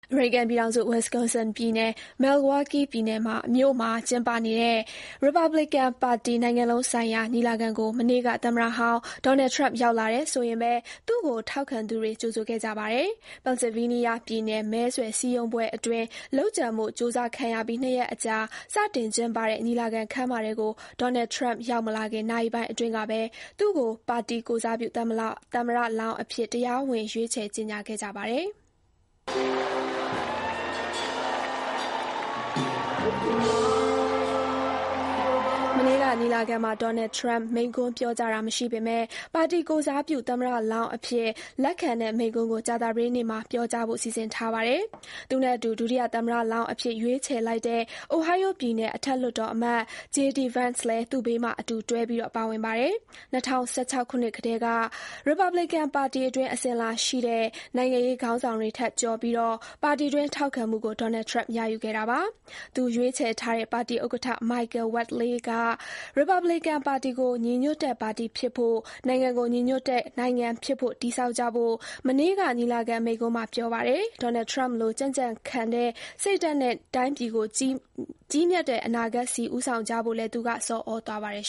အမေရိကန်ပြည်ထောင်စု၊ Wisconsin ပြည်နယ်၊ Milwaukee မြို့မှာ ကျင်းပနေတဲ့ ရီပတ်ဘလီကန်ပါတီ နိုင်ငံလုံးဆိုင်ရာ ညီလာခံကို မနေ့က သမ္မတဟောင်း Donald Trump ရောက်လာတယ်ဆိုရင်ပဲ သူ့ကို ထောက်ခံသူတွေ ကြိုဆိုခဲ့ကြပါတယ်။ Pennsylvania ပြည်နယ် မဲဆွယ်စည်းရုံးပွဲအတွင်း လုပ်ကြံဖို့ ကြိုးစားခံရပြီး နှစ်ရက်အကြာ စတင်ကျင်းပတဲ့ ညီလာခံ ခန်းမထဲကို Donald Trump ရောက်မလာခင် နာရီပိုင်းအတွင်းကပဲ သူ့ကို ပါတီကိုယ်စားပြု သမ္မလောင်းအဖြစ် တရားဝင် ရွေးချယ် ကြေညာခဲ့ကြပါတယ်။ မနေ့က ညီလာခံမှာ Donald Trump မိန့်ခွန်းပြောကြားတာ မရှိပေမဲ့ ပါတီကိုယ်စားပြု သမ္မတလောင်းအဖြစ် လက်ခံတဲ့ မိန့်ခွန်းကို ကြာသာပတေးနေ့မှာ ပြောကြားဖို့ စီစဉ်ထားပါတယ်။ သူ့နဲ့အတူ ဒုတိယသမ္မတလောင်းအဖြစ် ရွေးချယ်လိုက်တဲ့ Ohio ပြယ်နယ် အထက်လွှတ်တော်အမတ် J.D. Vance လည်း သူ့ဘေးမှာ အတူတွဲပြီး ပါဝင်ပါတယ်။ ၂၀၁၆ ခုနှစ်ကတည်းက ရီပတ်ဘလီကန်ပါတီအတွင်း အစဉ်အလာရှိတဲ့ နိုင်ငံရေး ခေါင်းဆောင်တွေထက်ကျော်ပြီး ပါတီတွင်း ထောက်ခံမှုကို Donald Trump ရယူခဲ့တာပါ။ သူ ရွေးချယ်ထားတဲ့ ပါတီဥက္ကဋ္ဌ Michael Whatley က ရီပတ်ဘလီကန်ပါတီကို ညီညွတ်တဲ့ ပါတီဖြစ်ဖို့၊ နိုင်ငံကို ညီညွတ်တဲ့ နိုင်ငံဖြစ်ဖို့ တည်ဆောက်ကြဖို့ မနေ့က ညီလာခံ မိန့်ခွန်းမှာ ပြောပါတယ်။ Donald Trump လို ကြံ့ကြံ့ခံတဲ့ စိတ်ဓါတ်နဲ့ တိုင်းပြည်ကို ကြီးမြတ်တဲ့အနာဂတ်ဆီ ဦးဆောင်ကြဖို့လည်း သူက ဆော်ဩသွားပါတယ်